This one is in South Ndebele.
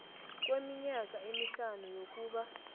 kweminyaka emihlanu yokuba